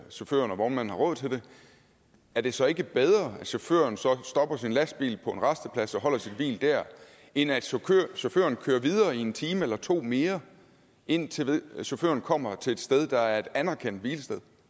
chaufføren og vognmanden har råd til det er det så ikke bedre at chaufføren så stopper sin lastbil på en rasteplads og holder sit hvil der end at chaufføren kører videre i en time eller to mere indtil chaufføren kommer til et sted der er et anerkendt hvilested